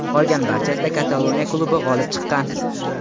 Qolgan barchasida Kataloniya klubi g‘olib chiqqan.